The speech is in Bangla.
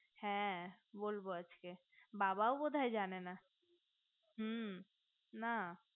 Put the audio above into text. হ্যা বলবো আছকে বাবাও বোধয় জানে না মু না হ্যা